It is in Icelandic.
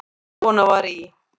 Kona var í